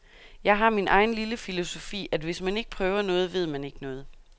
Jeg har min egen lille filosofi, at hvis man ikke prøver noget, ved man ikke noget.